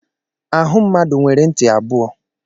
Ahụ mmadụ nwere ntị abụọ.